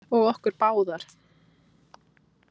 Og okkur báðar.